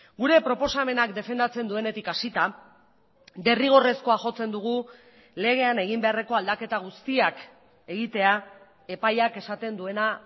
gure proposamenak defendatzen duenetik hasita derrigorrezkoa jotzen dugu legean egin beharreko aldaketa guztiak egitea epaiak esaten duena